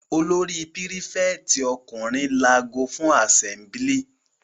Olórí prífẹ̀tì ọkùnrin lago fún àsẹ́mblì.